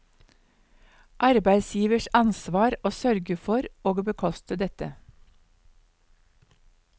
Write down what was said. Arbeidsgivers ansvar å sørge for og bekoste dette.